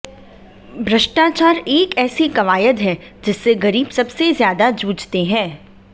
भ्रष्टाचार एक ऐसी कवायद है जिससे गरीब सबसे ज्यादा जूझते हैं